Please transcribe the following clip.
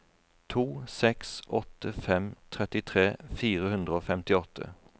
to seks åtte fem trettitre fire hundre og femtiåtte